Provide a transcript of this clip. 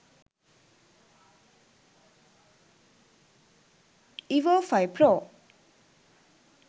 evo 5 pro